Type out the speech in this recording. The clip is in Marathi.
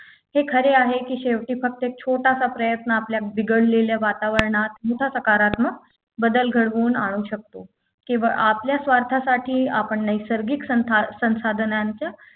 हे खरे आहे की शेवटी फक्त छोटासा प्रयत्न आपले बिघडलेल्या वातावरणात मोठ्या सकारात्मक बदल घडवून आणू शकतो किंवा आपल्या स्वार्थासाठी आपण नैसर्गिक संथा संसाधनांचा